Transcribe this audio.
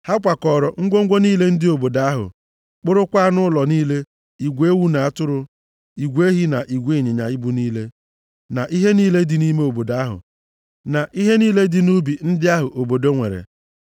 Ha kwakọọrọ ngwongwo niile dị nʼobodo ahụ, kpụrụkwa anụ ụlọ niile, igwe ewu na atụrụ, igwe ehi na igwe ịnyịnya ibu niile, na ihe niile dị nʼime obodo ahụ, na ihe niile dị nʼubi ndị ahụ obodo nwere.